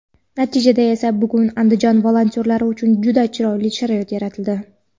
Natijada esa bugun Andijon volontyorlari uchun juda chiroyli sharoit yaratildi.